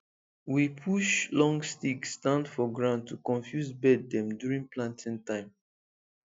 we push long stick stand for ground to confuse bird dem during planting time